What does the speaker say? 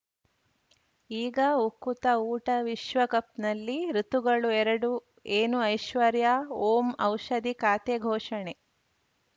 ಈಗ ಉಕುತ ಊಟ ವಿಶ್ವಕಪ್‌ನಲ್ಲಿ ಋತುಗಳು ಎರಡು ಏನು ಐಶ್ವರ್ಯಾ ಓಂ ಔಷಧಿ ಖಾತೆ ಘೋಷಣೆ